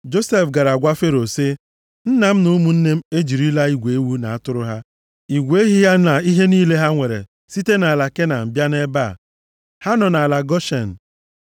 Josef gara gwa Fero sị, “Nna m na ụmụnne m ejirila igwe ewu na atụrụ ha, igwe ehi ha na ihe niile ha nwere site nʼala Kenan bịa nʼebe a. Ha nọ nʼala Goshen.”